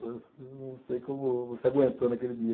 Não sei como você aguentou naquele dia.